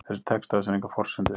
Þessi texti á sér enga forsendu.